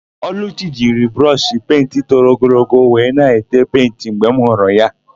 Ọlụchi jiri brọshị penti toro ogologo wee na-ete penti mgbe m hụrụ ya.